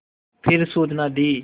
फिर सूचना दी